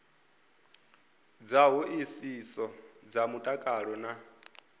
dza hoisiso dza mutakalo na